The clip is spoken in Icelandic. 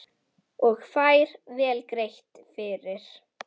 Og fær vel greitt fyrir.